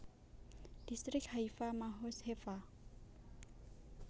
Distrik Haifa Mahoz Hefa